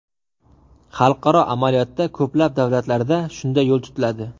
Xalqaro amaliyotda ko‘plab davlatlarda shunday yo‘l tutiladi.